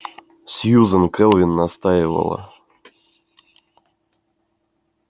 сьюзен кэлвин настаивала